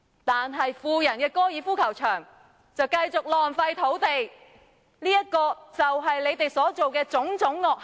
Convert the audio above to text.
但是，富人的高爾夫球場就繼續浪費土地，這便是你們所作的種種惡行。